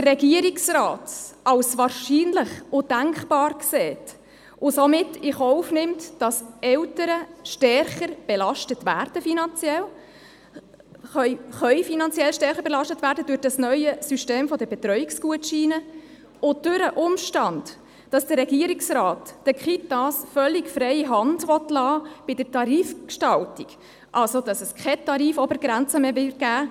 Der Regierungsrat betrachtet es als wahrscheinlich und denkbar und nimmt somit in Kauf, dass Eltern finanziell stärker belastet werden können durch das neue System der Betreuungsgutscheine sowie durch den Umstand, dass der Regierungsrat den Kitas bei der Tarifgestaltung völlig freie Hand lassen will, sodass es also keine Tarifobergrenze mehr geben wird.